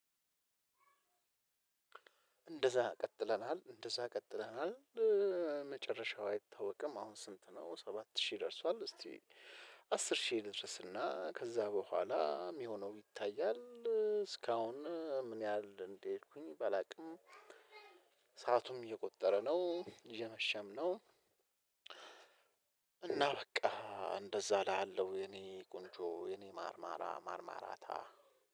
እንደዛ ቀጥለናል እንደዛ ቀጥለናል መጨረሻው አይታወቅም አሁን ስንት ነው ሰባት ሺህ ደርሷል። እስቲ አስር ሺህ ልድረስ እና ከዛ በኋላ የሚሆነው ይታያል። እስካሁን ምን ያህል እንደሄድኩኝ ባላውቅም። ሰአቱም እየቆጠረ ነው እየመሸም ነው። እና በቃ እንደዛ እላሃለው የኔ ቆንጆ የኔ ማርማራ ማርማራታ።